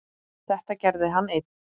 Þetta gerði hann einn.